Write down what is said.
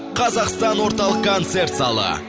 қазақстан орталық концерт залы